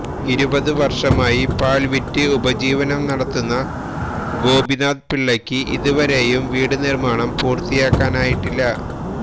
ഇരുപത് വര്ഷമായി പാല് വിറ്റ് ഉപജീവനം നടത്തുന്ന ഗോപിനാഥന്പിള്ളയ്ക്ക് ഇതുവരെയും വീട് നിര്മാണം പൂര്ത്തിയാക്കാനായിട്ടില്ല